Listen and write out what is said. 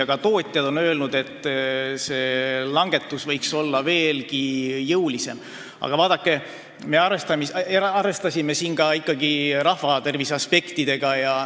Ka tootjad on öelnud, et aktsiiside langetus võiks olla veelgi jõulisem, aga me arvestasime siin ka rahvatervise aspektidega.